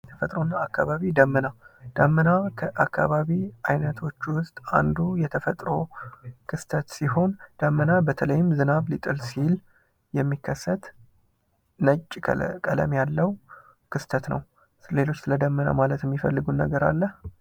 ተፈጥሮ እና አካባቢ፤ ደመና ፦ ደመና ከ አካባቢ አይነቶች ውስጥ አንዱ የተፈጥሮ ክስተት ሲሆን ደመና በተለይም ዝናብ ሊጥል ሲል የሚከሰት ነጭ ቀለም ያለው ክስተት ነው። ስለዚህ ስለ ደመና ማለት የሚፈልጉት ነገር አለ?